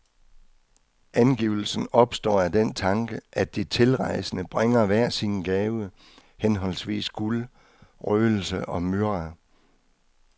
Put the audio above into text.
Angivelsen opstår af den tanke, at de tilrejsende bringer hver sin gave, henholdsvis guld, røgelse og myrra.